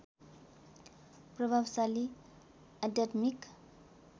प्रभावशाली आध्यात्मिक